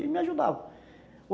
E ele me ajudava.